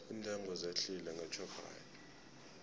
iintengo zehlile ngeshoprite